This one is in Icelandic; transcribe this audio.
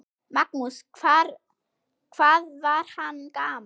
Magnús: Hvað var hann gamall?